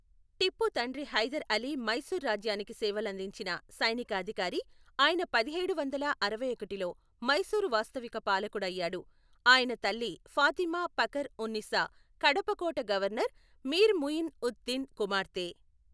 టిప్పు తండ్రి హైదర్ అలీ మైసూరు రాజ్యానికి సేవలందించిన సైనిక అధికారి, ఆయన పదిహేడు వందల అరవైఒకటిలో మైసూరు వాస్తవిక పాలకుడు అయ్యాడు, ఆయన తల్లి ఫాతిమా ఫఖర్ ఉన్ నిసా కడప కోట గవర్నర్ మీర్ ముయిన్ ఉద్ దిన్ కుమార్తె.